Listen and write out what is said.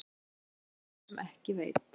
En hér spyr sá sem ekki veit.